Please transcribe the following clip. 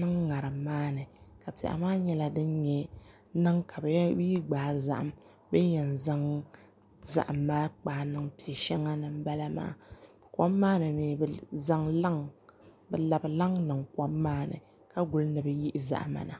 niŋ ŋarim maa ni ka piɛɣu maa nyɛla bi yi gbaa zaham bi ni yɛn zaŋ zaham maa kpaa niŋ piɛ shɛŋa ni n bala maa kom maa ni mii bi labi laŋ niŋ kom maa ni ka guli ni bi yihi zahama na